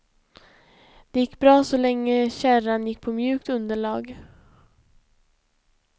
Det gick bra så länge kärran gick på mjukt underlag.